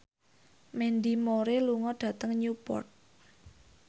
Mandy Moore lunga dhateng Newport